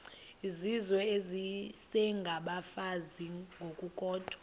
izizwe isengabafazi ngokukodwa